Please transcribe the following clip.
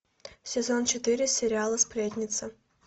сезон четыре сериала сплетница